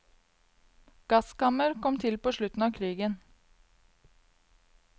Gasskammmer kom til på slutten av krigen.